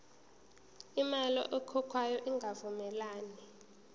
imali ekhokhwayo ingavumelani